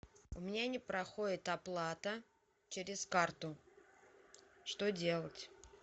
у меня не проходит оплата через карту что делать